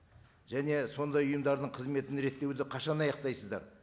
және сондай ұйымдардың қызметін реттеуді қашан аяқтайсыздар